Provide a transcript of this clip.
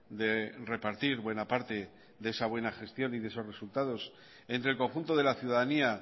de repartir buena parte de esa buena gestión y de esos resultados entre el conjunto de la ciudadanía